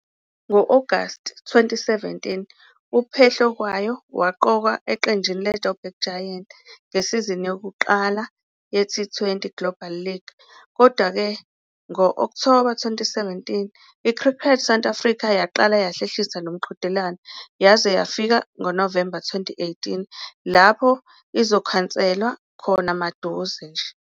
Ngo-Agasti 2017, uPhehlukwayo waqokwa eqenjini leJo'burg Giants ngesizini yokuqala yeT20 Global League. Kodwa-ke, ngo-Okthoba 2017, iCricket South Africa yaqala yahlehlisa lo mqhudelwano yaze yafika ngoNovemba 2018, lapho izokhanselwa khona maduze nje.